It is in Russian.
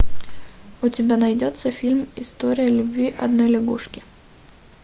у тебя найдется фильм история любви одной лягушки